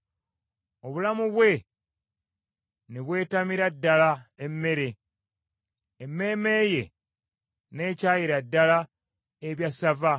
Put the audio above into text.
obulamu bwe ne bwetamira ddala emmere, emmeeme ye n’ekyayira ddala ebyassava.